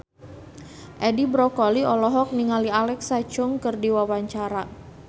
Edi Brokoli olohok ningali Alexa Chung keur diwawancara